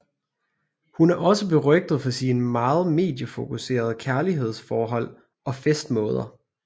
Hun er også berygtet for sine meget mediefokuserede kærlighedsforhold og festmåder